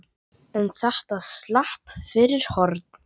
En þetta slapp fyrir horn.